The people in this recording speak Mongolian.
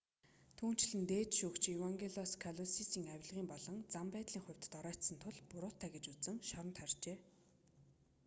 түүнчлэн дээд шүүгч евангелос калусисийг авилгын болон зан байдлын хувьд доройтсон тул буруутай гэж үзэн шоронд хорьжээ